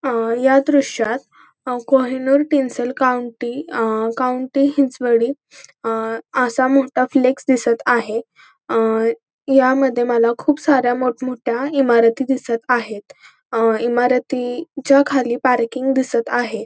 अं या दृश्यात Kohinoor Tinsel County अं काउंटी हिंजवडी अं असा मोठा फ्लेक्स दिसत आहे अं यामध्ये मला खूप सारे मोठमोठ्या इमारती दिसत आहेत अं इमारतीच्या खाली पार्किंग दिसत आहे.